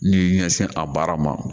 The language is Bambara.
N'i y'i ɲɛsin a baara ma